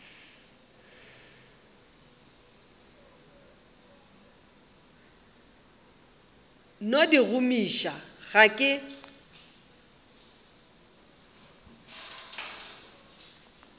no di gomiša ga ke